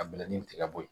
A bila ni tigɛ bɔ yen